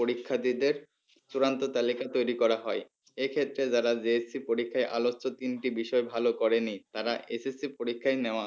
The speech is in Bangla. পরীক্ষার্থীদের চূড়ান্ত তালিকা তৈরি করা হয় এই ক্ষেত্রে যারা JSC পরীক্ষায় আলোচ্য তিনটি বিষয় এ ভালো করেনি তারা SSC পরীক্ষায় নেওয়া